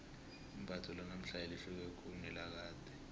imbatho lanamhlanje lihluke khulu kunelakade